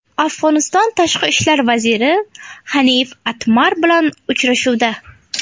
Afg‘oniston Tashqi ishlar vaziri Hanif Atmar bilan uchrashuvda.